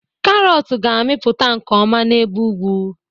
karọt ga-amịpụta nke ọma n'ebe ugwu